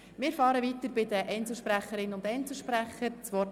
Wir fahren mit den Einzelsprecherinnen und Einzelsprechern fort.